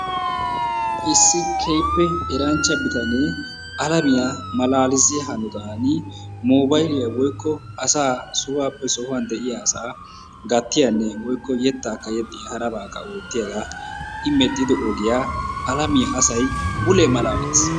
Issi keehippe eranchcha bitanee alaamiya malalissiya hanottan mobaliyaa woykko asaa sohuwappe sohuwaa de'iyaa asa gattiyaanne woykko yettakka yexxiya, harabakka ootiyaaga i medhdhido ogiyaa alamiyaa asay mulee malaaletiis.